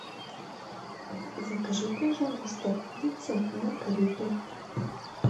закажи пожалуйста пиццу маргариту